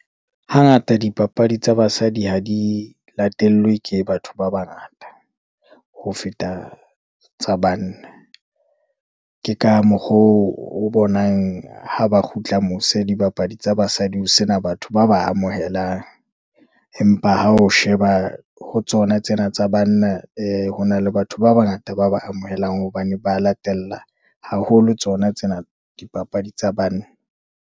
Hangata dipapadi tsa basadi ha di latellwe ke batho ba bangata, ho feta tsa banna. Ke ka mokgo oo, o bonang ha ba kgutla mose, dibapadi tsa basadi ho sena batho ba ba amohelang, empa ha o sheba ho tsona tsena tsa banna, ee hona le batho ba bangata ba ba amohelang, hobane ba latela haholo tsona tsena dipapadi tsa banna.